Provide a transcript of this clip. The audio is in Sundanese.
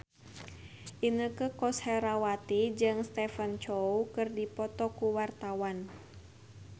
Inneke Koesherawati jeung Stephen Chow keur dipoto ku wartawan